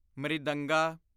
ਮ੍ਰਿਦੰਗਾ